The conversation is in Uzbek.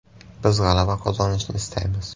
Biz g‘alaba qozonishni istaymiz.